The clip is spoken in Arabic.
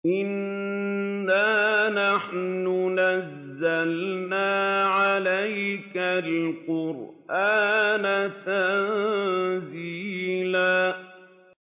إِنَّا نَحْنُ نَزَّلْنَا عَلَيْكَ الْقُرْآنَ تَنزِيلًا